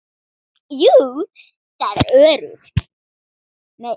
Jú, það er öruggt.